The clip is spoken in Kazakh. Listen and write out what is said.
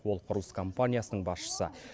ол құрылыс компаниясының басшысы